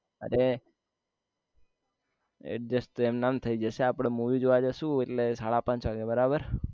અરે adjust તો એમનામ થય જશે આપને movie જોવા જસુ એટલે સાડા પાંચ વાગ્યે બરાબર